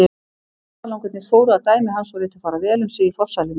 Ferðalangarnir fóru að dæmi hans og létu fara vel um sig í forsælunni.